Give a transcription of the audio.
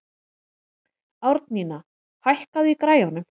Árnína, hækkaðu í græjunum.